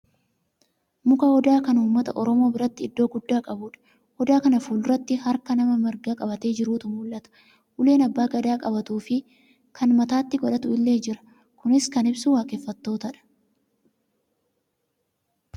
Muka odaa kan uummata oromoo biratti iddoo guddaa qabudha. Odaa kana fulduratti harka nama marga qabatee jiruutu mul'ata. Uleen abbaan gadaa qabatuufi kan mataatti godhatu illee jira. Kunis kan ibsu waaqeffattootadha.